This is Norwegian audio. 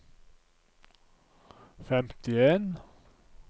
femtien